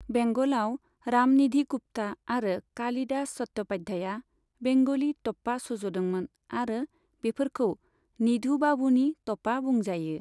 बेंगलाव, रामनिधि गुप्ता आरो कालिदास चट्ट'पाध्याया बेंगली टप्पा सुजुदोंमोन आरो बेफोरखौ निधु बाबूनि टप्पा बुंजायो।